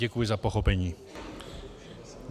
Děkuji za pochopení.